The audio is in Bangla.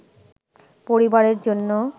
পরিবারের জন্য